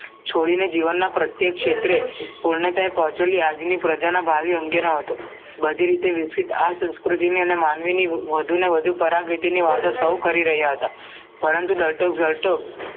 છોડીને જીવન ના પ્રત્યેક ક્ષેત્રે પુણતાયે પહોંચેલી આજની પ્રજા ના ભાવિ અંગેના હતું બધી રીતે વિક્સિત આ સંસકૃતી ને માનવી ની વધુને વધુ પરાગતીની વાતો સૌ કરી રહ્યા હતા પરંતુ ડોક્ટર જરતોક